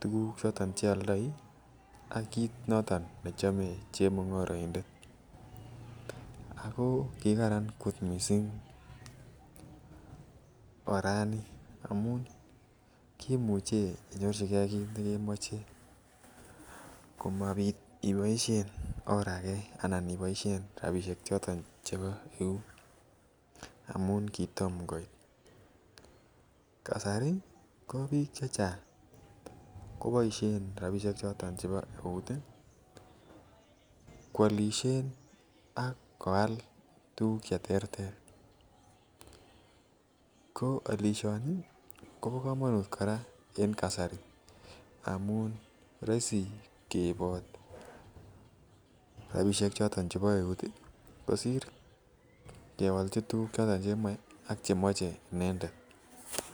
tukuk choton cheoldoi ak kit noton ne chome chemungoroindet, ako kikaran kot missing Irani kimuche inyorchigee kit neimoche komonut iboishen or age ana iboishen rabishek choton chebo eut amun kitom koit. kasari ko bik chachang koboishen rabishek choton chebo eut tii kwilishen ak koa tukuk cheterter ko olishini Kobo komonut koraa en kasar roisi keibi rabishek choton chebo eut tii kosir kewolchi tukuk choton chemoi ak chemoche inendet.